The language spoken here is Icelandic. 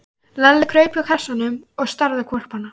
Lalli kraup hjá kassanum og starði á hvolpana.